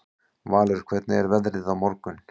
Valur, hvernig er veðrið á morgun?